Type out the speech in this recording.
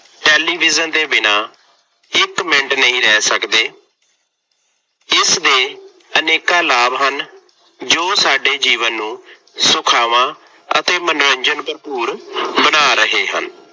Television ਦੇ ਬਿਨਾ ਇੱਕ ਮਿੰਟ ਨਹੀਂ ਰਹਿ ਸਕਦੇ। ਇਸਦੇ ਅਨੇਕਾਂ ਲਾਭ ਹਨ ਜੋ ਸਾਡੇ ਜੀਵਨ ਨੂੰ ਜੋ ਸਾਡੇ ਜੀਵਨ ਨੂੰ ਸੁਖਾਵਾ ਅਤੇ ਮਨੋਰੰਜਨ ਭਰਪੂਰ ਬਣਾ ਰਹੇ ਹਨ।